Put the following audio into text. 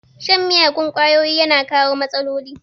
Shan miyagun kwayoyi yana kawo matsaloli